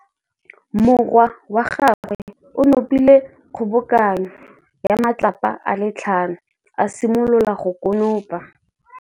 Morwa wa gagwe o nopile kgobokanô ya matlapa a le tlhano, a simolola go konopa.